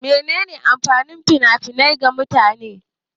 Mene ne amfanin fina-finai ga mutane?